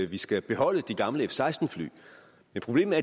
vi skal beholde de gamle f seksten fly men problemet